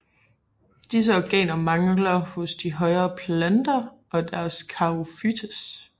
Disse organer mangler hos de højere planter og hos charophytes